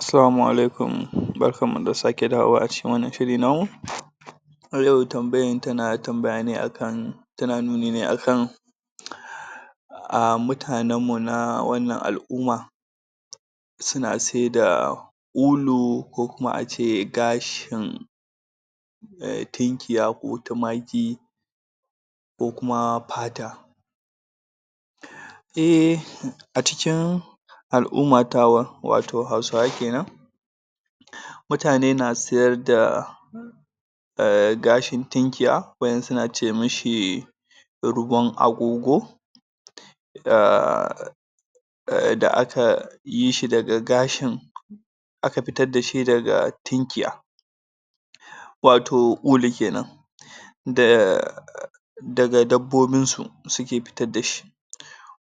Assalamu alaikum barkanmu da sake dawowa a cikin wannan shiri namu A yau tambayan tana tambaya ne akan.. Tana nuni ne akan Mutanen mu na wannan al'umma Suna saida.. ulu Ko kuma ace kashin Tinkiya ko tumaki Ko kuma pata /// A cikin Al'umma tawa Wato hausawa kenan Mutane na sayar da Gashin tunkiya Wadansu nace mashi Ruwan agogo Da aka Yishi daga gashin.. Aka fitar dashi daga tunkiya Wato ulu kenan Da Daga dabbobin su Suke fitar tashi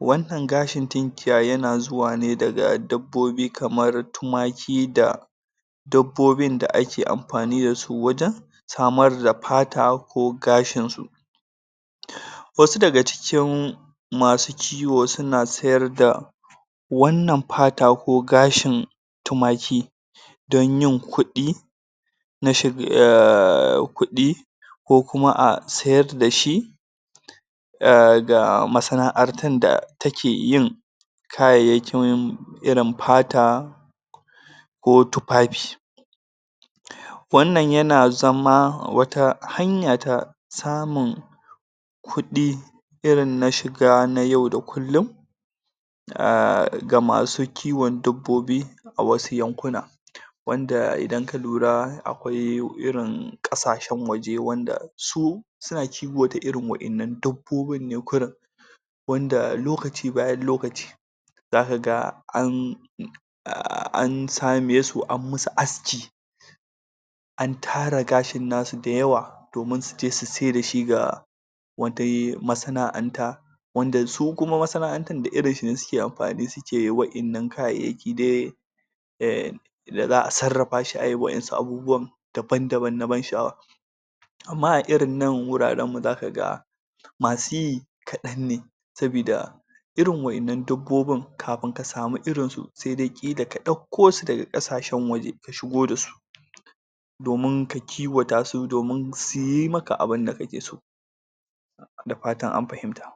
Wannan gashin tunkiyar yana zuwa ne daga dabbobi kamar tumaki da Dabbobi da ake amfani dasu wajen Samar da pata ko gashin su Wasu daga cikin Masu ciwo suna sayar da Wannan pata ko gashin Tumaki Don yin kudi ko kuma a sayar dashi Ga, masana'antar da takeyin Kayayyekin Irin pata Ko tufafi Wannan yana zama wata hanya ta Samun.. Kudi Irin na shiga na yau da kullin Ga masu kiwon dabbobi A wasu yankuna Wanda idan ka lura akwai irin kasashen waje wanda Su, Su, suna kiwata irin wadannan dabbobin ne kawai Wanda lokaci bayan lokaci Zakaga an.. an same su anyi masu aski An tara gashin nasu da yawa. Domin su tafi su saida shi ga Wasu masana'anta Wanda su kuma masana'antar da irinshi ne suke amfani suke wadannan kayayyaki dai Daza'a sarrafa shi ayi wadansu abubuwan Daban-daban na ban sha'awa Amma anan irin wujajjen mu za kaga Masu yi, Kadan ne Sabida Irin wadannan dabbobin Kamin ka samu irin su Saida ka dakko su daga kasashen waje Ka shigo dasu Domin ka kiwata su domin suyi maka abinda kake so Da fatan an fahimta